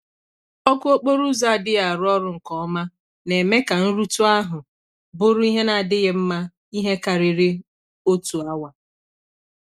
Oku okporo ụzo adighi arụ ọrụ nke ọma, na-eme ka nrutu ahu bụrụ ihe na adighi mma ihe kariri otu awa.